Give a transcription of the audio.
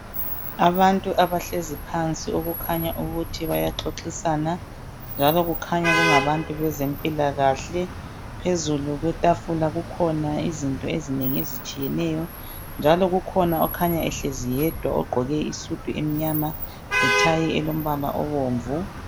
Abantu abahlezi phansi okukhanya ukuthi bayaxoxisana njalo kukhanya kungabantu bezempilakahle phezulu kwetafula kukhona izinto ezinengi ezitshiyeneyo njalo kukhona okhanya ehlezi yedwa ogqoke isudu emnyama lontanjana olombala obomvu.